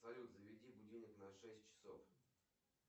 салют заведи будильник на шесть часов